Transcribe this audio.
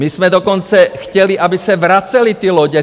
My jsme dokonce chtěli, aby se vracely ty lodě.